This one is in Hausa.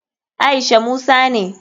Aisha musa ne.